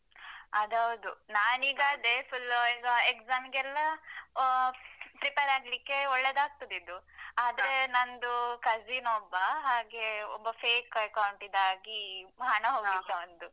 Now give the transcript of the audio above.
ಅದು ಹೌದು ನಾನ್ ಈಗ ಅದೇ full ಈಗ exam ಗೆಲ್ಲಾ ಅಹ್ prepare ಆಗ್ಲಿಕೆ ಒಳ್ಳೇದಾಗ್ತದೆ ಇದು ಆದ್ರೆ ನಂದು cousin ಒಬ್ಬ ಹಾಗೆ ಒಬ್ಬ fake account ದಾಗಿ ಹಣ ಹೋಗಿತ್ತು ಅವಂದು.